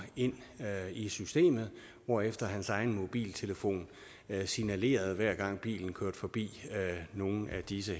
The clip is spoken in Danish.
ind i systemet hvorefter hans egen mobiltelefon signalerede hver gang bilen kørte forbi nogle af disse